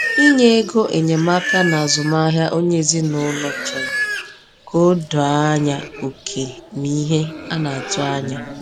Inye ego enyemaka n’azụmahịa onye ezinụlọ chọrọ ka a doo anya oke na ihe a na-atụ anya.